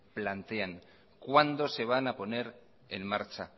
plantean cuándo se van a poner en marcha